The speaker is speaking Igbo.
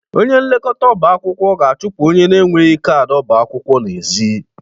Onye nlekọta ọba akwụkwọ ga-achụpụ onye n'enweghị kaadị ọba akwụkwọ n'ezi.